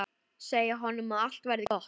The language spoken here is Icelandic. Segja honum að allt verði gott.